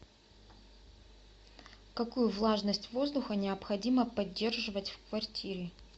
какую влажность воздуха необходимо поддерживать в квартире